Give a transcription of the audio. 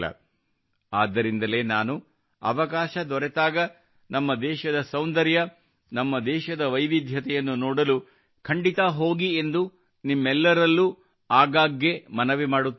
ಆದ್ದರಿಂದಲೇ ನಾನು ಅವಕಾಶ ದೊರೆತಾಗ ನಮ್ಮ ದೇಶದ ಸೌಂದರ್ಯ ನಮ್ಮ ದೇಶದ ವೈವಿಧ್ಯತೆಯನ್ನು ನೋಡಲು ಖಂಡಿತಾ ಹೋಗಿ ಎಂದು ನಿಮ್ಮೆಲ್ಲರಲ್ಲೂ ಆಗಾಗ್ಗೆ ಮನವಿ ಮಾಡುತ್ತಿರುತ್ತೇನೆ